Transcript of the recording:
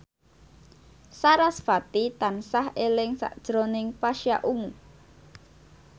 sarasvati tansah eling sakjroning Pasha Ungu